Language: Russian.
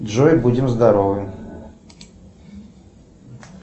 джой будем здоровы